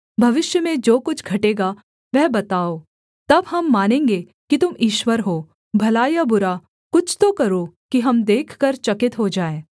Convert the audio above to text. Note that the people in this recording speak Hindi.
भविष्य में जो कुछ घटेगा वह बताओ तब हम मानेंगे कि तुम ईश्वर हो भला या बुरा कुछ तो करो कि हम देखकर चकित को जाएँ